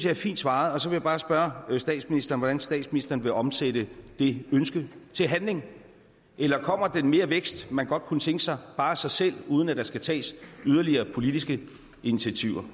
er fint svaret og så vil jeg bare spørge statsministeren hvordan statsministeren vil omsætte det ønske til handling eller kommer den mere vækst man godt kunne tænke sig bare af sig selv uden at der skal tages yderligere politiske initiativer